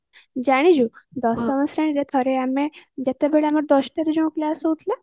ଜାଣିଛୁ ଦଶମ ଶ୍ରେଣୀରେ ଥରେ ଆମେ ଯେତେବେଳେ ଆମର ଦଶଟାରେ ଯୋଉ କ୍ଲାସ ହଉଥିଲା